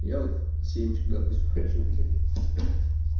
я вот семечек допустим хочу блять ха